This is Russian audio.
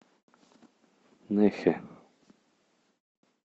нэхэ